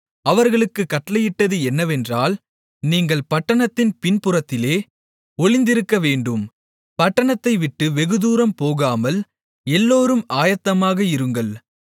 அவர்களுக்குக் கட்டளையிட்டது என்னவென்றால் நீங்கள் பட்டணத்தின் பின்புறத்திலே ஒளிந்திருக்கவேண்டும் பட்டணத்தைவிட்டு வெகுதூரம் போகாமல் எல்லோரும் ஆயத்தமாக இருங்கள்